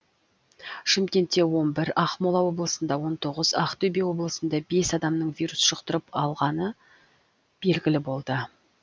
шымкентте он бір ақмола облысында он тоғыз ақтөбе облысында бес адамның вирус жұқтырып алғаны белгілі болды